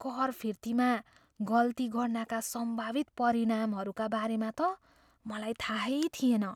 कर फिर्तीमा गल्ती गर्नाका सम्भावित परिणामहरूका बारेमा त मलाई थाहै थिएन।